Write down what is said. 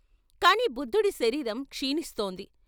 కాని బుద్ధుడి శరీరం క్షీణిస్తోంది.